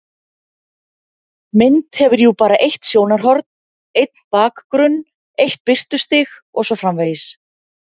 Mynd hefur jú bara eitt sjónarhorn, einn bakgrunn, eitt birtustig og svo framvegis.